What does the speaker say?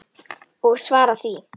Og svara því.